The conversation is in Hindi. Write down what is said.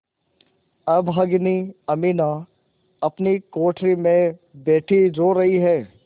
अभागिनी अमीना अपनी कोठरी में बैठी रो रही है